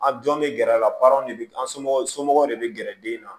An jɔn bɛ gɛrɛ a la de bɛ an somɔgɔw somɔgɔw de bɛ gɛrɛ den na